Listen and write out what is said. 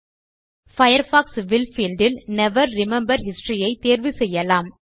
Firefox will field இல் never remember history ஐ தேர்வு செய்யலாம்